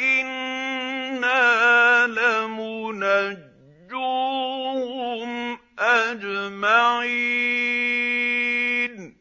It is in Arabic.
إِنَّا لَمُنَجُّوهُمْ أَجْمَعِينَ